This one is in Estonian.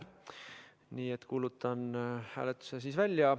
Nii et kuulutan hääletuse tulemuse välja.